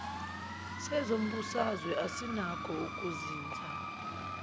sezombusazwe asinakho ukuzinza